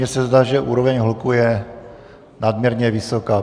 Mně se zdá, že úroveň hluku je nadměrně vysoká.